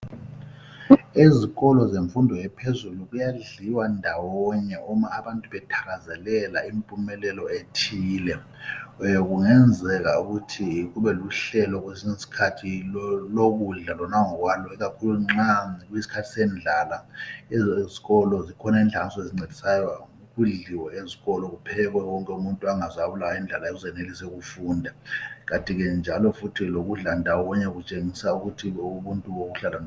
Ezikolo zemfundo ephezulu kuyadliwa ndawonye abantu bethakazelela impumelelo ethile. Kungenzeka ukuthi kubeluhlelo kwesinye isikhathi lokudla lona ngokwalo, ikakhulu nxa kuyisikhathi sendlala. Ezikolo, zikhona inhlanganiso ezisizayo. Kuphekwe kudliwe ndawonye. Kanti njalo futhi ukudla ndawonye kutshengisa ubuntu.